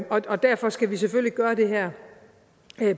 og derfor skal vi selvfølgelig gøre det her